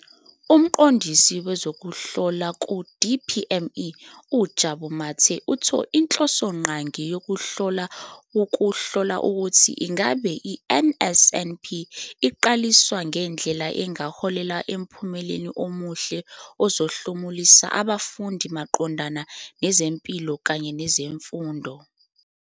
UMqondisi Wezokuhlola ku-DPME, uJabu Mathe, uthe inhlosongqangi yokuhlola wukuhlola ukuthi ingabe i-NSNP iqaliswa ngendlela engaholela emphumeleni omuhle ozohlomulisa abafundi maqondana nezempilo kanye nezemfundo.